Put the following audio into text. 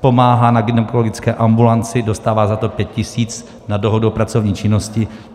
pomáhá na gynekologické ambulanci, dostává za to 5 tisíc na dohodu o pracovní činnosti.